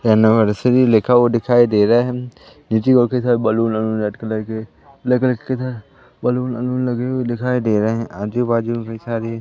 anniversary लिखा हुआ दिखाई दे रहा है बैलून वलून रेड कलर के ब्लैक कलर के किधर बैलून वलून लगे हुए दिखाई दे रहे हैं आजू बाजू कई सारे--